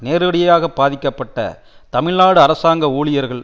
நேரடியாக பாதிக்கப்பட்ட தமிழ்நாடு அரசாங்க ஊழியர்கள்